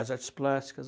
As artes plásticas.